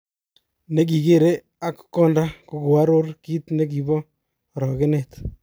Nekigere ak konda kokoaror kit nekibo orogenet.